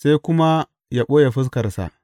sai kuma yă ɓoye fuskarsa.